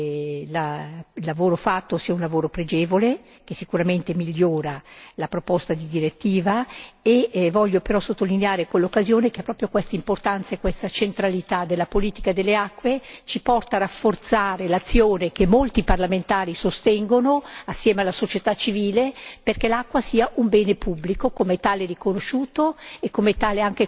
Credo che il lavoro svolto sia un lavoro pregevole che sicuramente migliora la proposta di direttiva e voglio però sottolineare, in questa occasione, che proprio quest'importanza, questa centralità della politica delle acque ci porta a rafforzare l'azione che molti parlamentari sostengono assieme alla società civile perché l'acqua sia un bene pubblico e come tale riconosciuto